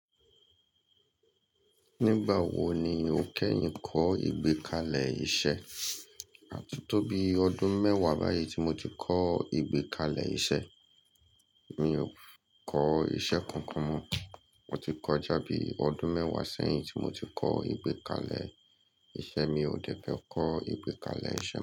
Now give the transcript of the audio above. Nígbà wo ni o kẹ́yìń kọ́ ìgbékalẹ̀ iṣẹ́? À ti tó bí ọdún mẹ́wàá báyìí tí mo ti kọ́ ìgbékalẹ̀ iṣẹ́. Mi ò kọ́ iṣẹ́ kankan mọ. Mo ti kọ́ jábi ọdún mẹ́wàá sẹ́yìn tí mo ti kọ́ ìgbékalẹ̀ iṣẹ́. Mi ò dẹ́fẹ́ kọ́ ìgbékalẹ̀ iṣẹ́